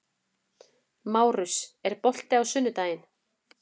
Márus, er bolti á sunnudaginn?